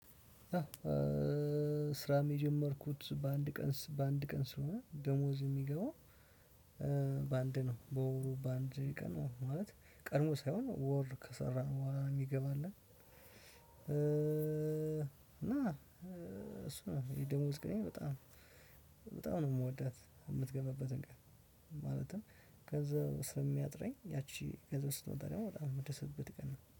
ስራም የጀመርኩት በአንድ ቀን በአንድ ቀን ስለሆነ ደሞዝ የሚገባው በአንድ ነው በወሩ በአንድ ቀን ማለት ቀድሞ ሳይሆን ወር ከሰራን በኋላ ነው የሚገባልን። እና እሱ ነው የደሞዝ ቀኔን በጣም በጣም ነው የምወዳት የምትገባበትን ቀን። ማለትም ከዛ እስከሚያጥረኝ ያቺ ገንዘብ ስትመጣ ደግሞ በጣም የምደሰትበት ቀን ነው